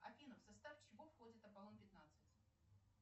афина в состав чего входит аполлон пятнадцать